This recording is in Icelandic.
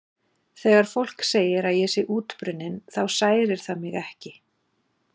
Þegar fólk segir að ég sé útbrunninn þá særir það mig ekki.